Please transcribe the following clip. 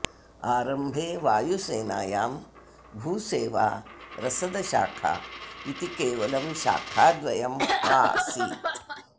आरम्भे वायुसेनायां भूसेवा रसदशाखा इति केवलं शाखाद्वयम् आसीत्